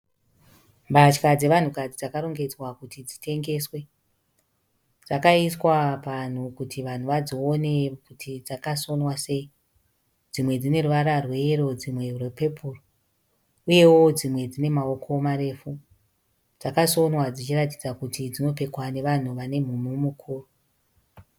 Mbatya dzevanhukadzi dzakarongedzwa kuti dzitengeswe. Dzakaiswa panhu kuti vanhu vadzione kuti dzakasonwa sei. Dzimwe dzine ruvara rweyero dzimwe rwepepuru uyewo dzimwe dzine maoko marefu. Dzakasonwa dzichiratidza kuti dzinopfekwa nevanhu vane mhumhu mukuru.